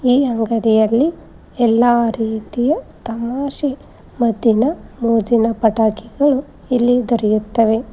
ಈ ಅಂಗಡಿಯಲ್ಲಿ ಎಲ್ಲಾ ರೀತಿಯ ತಮಾಷೆ ಮದ್ದಿನ ಮೋಜಿನ ಪಟಾಕಿಗಳು ಇಲ್ಲಿ ದೊರೆಯುತ್ತವೆ.